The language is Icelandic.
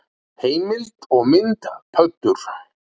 Heimild og mynd Pöddur.